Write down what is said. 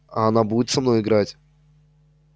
а она будет со мной играть